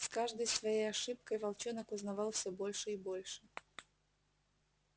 с каждой своей ошибкой волчонок узнавал все больше и больше